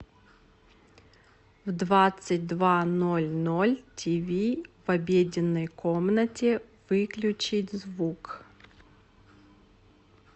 в двадцать два ноль ноль тиви в обеденной комнате выключить звук